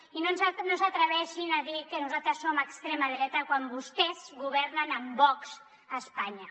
i no s’atreveixin a dir que nosaltres som extrema dreta quan vostès governen amb vox a espanya